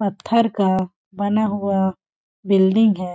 पत्थर का बना हुआ बिल्डिंग हैं।